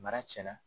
Mara tiɲɛna